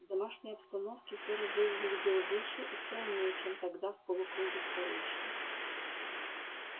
в домашней обстановке ферл выглядел выше и стройнее чем тогда в полукруге старейшин